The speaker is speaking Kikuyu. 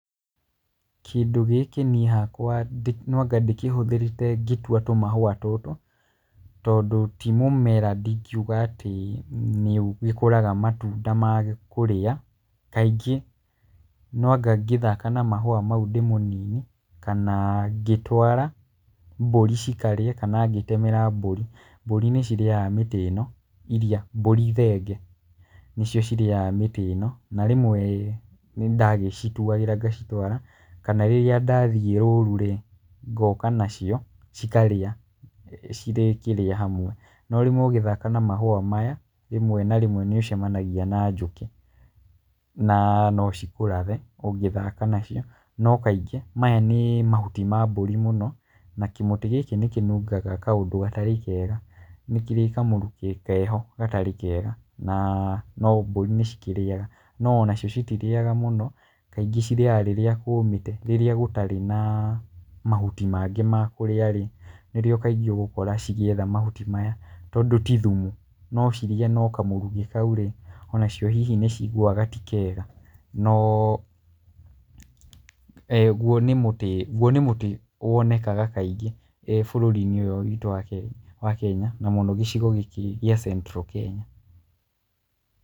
Kindũ gĩkĩ niĩ hakwa no anga ndĩkĩhũthĩrĩte ngĩtũa tũmahũa tũtũ, tondũ tĩ mũmera ndingiuga atĩ nĩ ũgĩkũraga matũnda ma kũrĩa kaingĩ no anga ngĩthaka na mahũa mau ndĩ mũnini kana ngĩtũara mbũrĩ cikarĩe kana ngĩtemera mbũri. Mbũri nĩ cirĩaga mĩtĩ ĩno, mbũri thenge nĩcio cirĩaga mĩti ĩno na rĩmwe nĩ nda gĩ citũagĩra ngacitwarĩra kana rĩria ndathiĩ rũrũ ngoka nacĩo cikarĩa hamwe no rĩmwe ũngĩthaka na mahũa maya rĩmwe na rĩmwe nĩ ũcamanagĩa na njũkĩ, na no ci kũrathe rĩmwe ũngĩthaka nacio. No kaĩngĩ maya nĩ mahũtĩ ma mbũri mũno na kĩmũtĩ gĩkĩ nĩ kĩnungaga kaũndũ gatarĩ kega nĩ kĩrĩ kamũrũkĩ keho gatarĩ kega na no mbũri no cikĩrĩaga, no ona cio cíitĩrĩaga mũno kaĩngĩ cirĩaga rĩrĩa kũmĩte, rĩrĩa gũtarĩ na mahũtĩ mangĩ ma kũrĩa, nĩrĩo kaingĩ ũgũkora cigĩetha mahũtĩ maya tondũ tĩ thũmũ no cirĩe no kamũrũkĩ kaũ ona cĩo hihi nĩ cIigũaga tĩ kega, no gũo nĩ mũtĩ wonekaga kaĩngĩ bũrũri-inĩ ũyũ witũ wa Kenya, na mũno gĩcigo gĩkĩ gĩa Central Kenya.